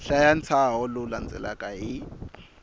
hlaya ntshaho lowu landzelaka hi